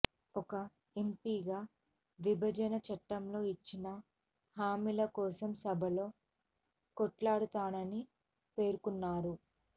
ఒక ఎంపీగా విభజన చట్టంలో ఇచ్చిన హామీల కోసం సభలో కొట్లాడతానని పేర్కొన్నారు